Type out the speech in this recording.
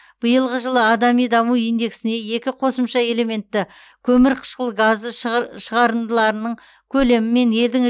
биылғы жылы адами даму индексіне екі қосымша элементті көмірқышқыл газы шығарындыларының көлемі мен елдің